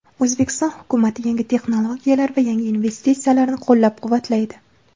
O‘zbekiston hukumati yangi texnologiyalar va yangi investitsiyalarni qo‘llab-quvvatlaydi.